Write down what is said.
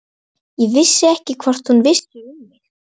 Ég vissi ekkert hvort hún vissi um mig.